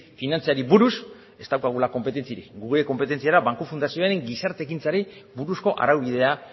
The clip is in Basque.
finantzari buruz ez daukagula konpetentziarik gure konpetentzia da banku fundazioen gizarte ekintzari buruzko araubidea